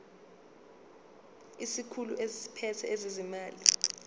isikhulu esiphethe ezezimali